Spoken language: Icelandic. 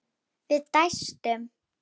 Við dæstum.